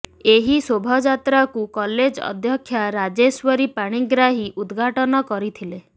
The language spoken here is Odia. ଏହି ଶୋଭଯାତ୍ରାକୁ କଲେଜ ଅଧ୍ୟକ୍ଷା ରାଜେଶ୍ୱରୀ ପାଣିଗ୍ରାହୀ ଉଦଘାଟନ କରିଥିଲେ